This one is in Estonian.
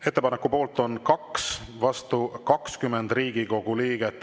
Ettepaneku poolt on 2, vastu 20 Riigikogu liiget.